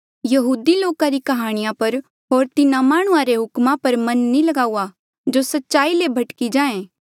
यहूदी लोका री काह्णियां पर होर तिन्हा माह्णुंआं रे हुक्मा पर मन नी ल्गाऊआ जो सच्चाई ले भटकी जाहें